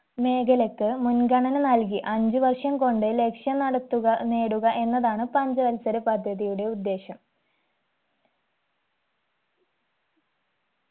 മേഖലക്ക് മുൻഗണന നൽകി അഞ്ചു വർഷം കൊണ്ട് ലക്ഷ്യം നടത്തുക നേടുക എന്നതാണ് പഞ്ചവത്സര പദ്ധതിയുടെ ഉദ്ദേശം